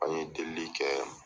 An ye delieli kɛ.